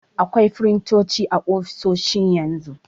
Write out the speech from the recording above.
Akwai firintoci a ofisoshi yanzu.